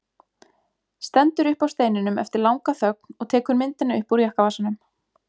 Stendur upp af steininum eftir langa þögn og tekur myndina upp úr jakkavasanum.